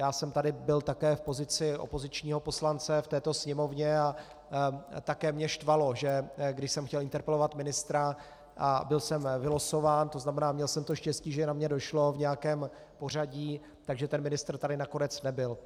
Já jsem tu byl také v pozici opozičního poslance v této Sněmovně a také mě štvalo, že když jsem chtěl interpelovat ministra a byl jsem vylosován, to znamená, měl jsem to štěstí, že na mě došlo v nějakém pořadí, tak ten ministr tady nakonec nebyl.